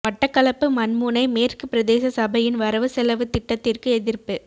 மட்டக்களப்பு மண்முனை மேற்கு பிரதேச சபையின் வரவு செலவுத் திட்டத்திற்கு எதிர்ப்பு